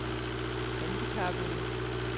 handicappede